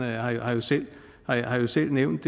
ahrendtsen har jo selv nævnt